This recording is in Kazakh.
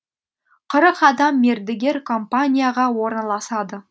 қырық адам мердігер компанияға орналасады